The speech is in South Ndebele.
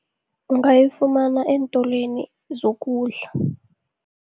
Ungayifumana eentolweni zokudla.